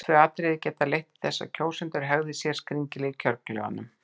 Þessi tvö atriði geta leitt til þess að kjósendur hegði sér skringilega í kjörklefanum.